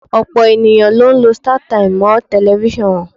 Ọ̀pọ̀ ènìyàn ló ń lọ Startimes mọ́ tẹlifíṣàn wọn.